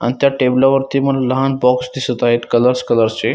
अन त्या टेबला वरती लहान बॉक्स दिसत आहे कलरस कलर चे.